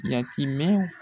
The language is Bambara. Yatimɛn